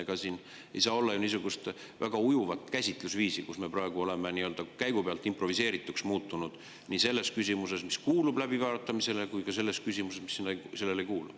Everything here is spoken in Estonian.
Ega siin ei saa olla ju niisugust väga ujuvat käsitlusviisi, kus me praegu oleme nii-öelda käigu pealt improviseerivaks muutunud nii selles küsimuses, mis kuulub läbiarutamisele, kui ka selles küsimuses, mis ei kuulu.